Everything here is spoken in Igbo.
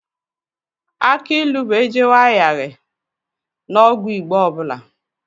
Akị ilu bụ ejewe ahaghị n'ọgwụ Igbo ọ bụla